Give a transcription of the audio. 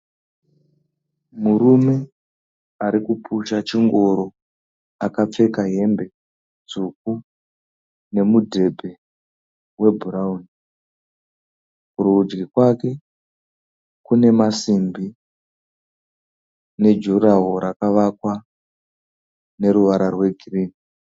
Murume arikupusha chingoro. Akapfeka hembe tsvuku nemu dhebhe we bhurauni. kurudyi kwakwe kune masimbi ne 'durawall' rakavakwa neruvara rwe gireyi.